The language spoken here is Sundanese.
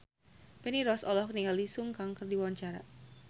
Feni Rose olohok ningali Sun Kang keur diwawancara